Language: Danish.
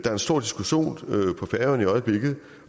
er en stor diskussion